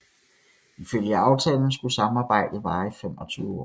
Ifølge aftalen skulle samarbejdet vare i 25 år